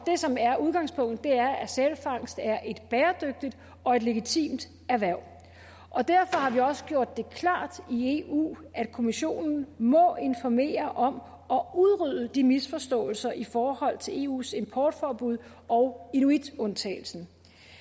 det som er udgangspunktet er at sælfangst er et bæredygtigt og et legitimt erhverv derfor har vi også gjort det klart i eu at kommissionen må informere om og udrydde misforståelserne i forhold til eus importforbud og inuitundtagelsen